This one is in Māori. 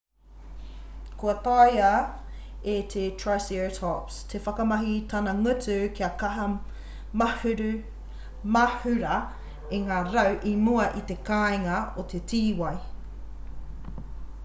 kua taea e te triceratops te whakamahi i tana ngutu kaha kia mahura i ngā rau i mua i te kāinga o te tīwai